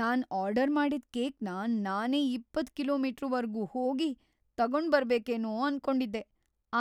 ನಾನ್ order ಮಾಡಿದ್‌ ಕೇಕ್‌ನ ನಾನೇ ಇಪ್ಪತ್ತು ಕಿಲೋ.ಮೀಟರ್.ವರ್ಗೂ ಹೋಗಿ ತಗೊಂಡ್ಬರ್ಬೇಕೇನೋ ಅನ್ಕೊಂಡಿದ್ದೆ.